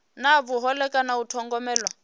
na vhuhole kana u thogomelwa